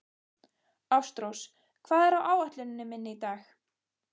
Ástrós, hvað er á áætluninni minni í dag?